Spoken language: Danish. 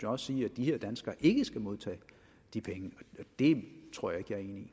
også sige at de her danskere ikke skal modtage de penge og det tror jeg